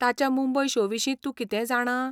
ताच्या मुंबय शो विशीं तूं कितेंय जाणा?